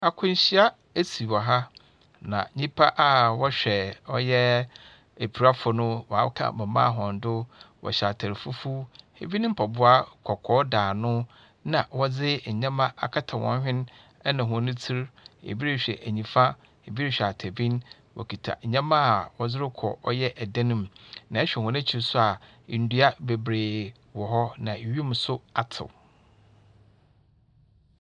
Akwanhyia esi wɔ ha, na nyimpa a ɔyɛ wɔhwɛ epirafo no wɔakɛmema hɔn do, wɔhyɛ atar fufuw, bi ne mpaboa kɔkɔɔ da ano, na wɔdze ndzɛmba akata hɔn hwen na hɔn tsir, bi rohwɛ enyimfa, bi rokɔ atabir. Wokitsa ndzɛmba a wɔdze rokɔ ɔyɛ dan mu, na ehwɛ hɔn ekyir so a ndua beberebe wɔ hɔ, na wimu so atsew.